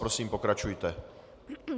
Prosím, pokračujte.